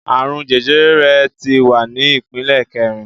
Àrùn jẹjẹrẹ rẹ̀ tí wà ní ìpele kẹrin